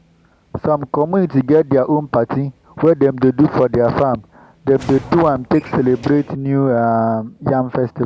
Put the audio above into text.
some community get their own party wey dem do for their farm. dem dey do am take celebrate new um yam festival.